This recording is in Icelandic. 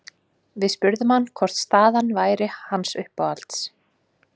Við spurðum hann hvor staðan væri hans uppáhalds?